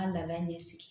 N ka laada in ne sigi